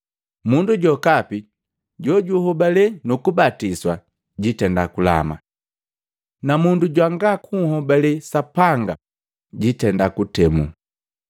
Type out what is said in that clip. Mundu jokapi jojuhobalee nu kubatiswa jitenda kulama. Na mundu jwanga kunhobale Sapanga jiitenda kuntemu.